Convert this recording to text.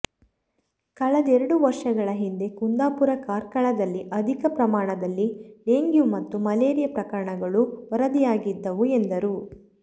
ಕಳೆದೆರಡು ವರ್ಷಗಳ ಹಿಂದೆ ಕುಂದಾಪುರ ಕಾರ್ಕಳದಲ್ಲಿ ಅಧಿಕ ಪ್ರಮಾಣದಲ್ಲಿ ಡೆಂಗ್ಯೂ ಮತ್ತು ಮಲೇರಿಯಾ ಪ್ರಕರಣಗಳು ವರದಿಯಾಗಿದ್ದವು ಎಂದರು